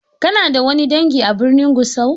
Kana da wani dangi a birnin Gusau?